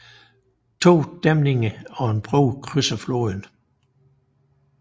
To dæmninger og en bro krydser floden